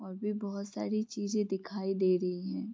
और भी बोहोत सारी चीज़े दिखाई दे रही है।